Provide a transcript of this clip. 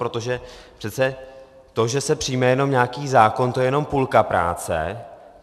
Protože přece to, že se přijme jenom nějaký zákon, to je jenom půlka práce.